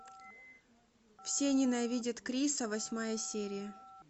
все ненавидят криса восьмая серия